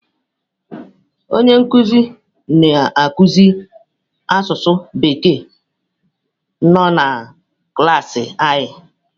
Onye nkuzi na akụzi asụsụ bekee nọ na klaasị anyị